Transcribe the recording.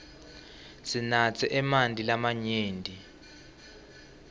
sinatse emanti lamanyenti